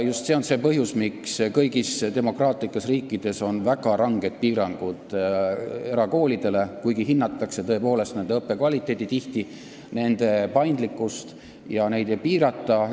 Just see on põhjus, miks kõigis demokraatlikes riikides on väga ranged piirangud erakoolidele, kuigi tihti hinnatakse tõepoolest nende õppekvaliteeti ja paindlikkust ning seda ei piirata.